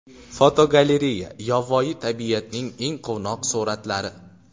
Fotogalereya: Yovvoyi tabiatning eng quvnoq suratlari.